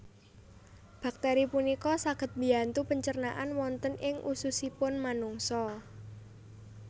Bakteri punika saged mbiyantu pencernaan wonten ing ususipun manungsa